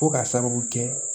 Fo ka sababu kɛ